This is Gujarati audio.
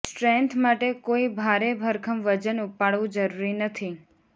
સ્ટ્રેન્થ માટે કોઈ ભારે ભરખમ વજન ઉપાડવું જરૂરી નથી